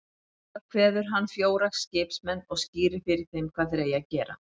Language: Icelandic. Þangað kveður hann fjóra skipsmenn og skýrir fyrir þeim hvað þeir eigi að gera.